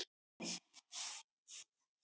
Og skyldi akkúrat engan undra!